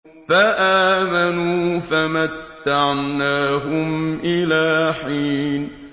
فَآمَنُوا فَمَتَّعْنَاهُمْ إِلَىٰ حِينٍ